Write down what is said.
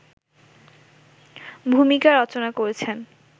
ভুমিকা রচনা করেছেন